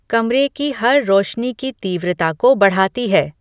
कमरे की हर रोशनी की तीव्रता को बढ़ाती है